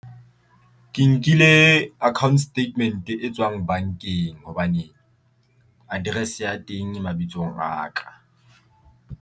Ke nkile account statement e tswang bankeng hobane address ya teng e mabitsong a ka.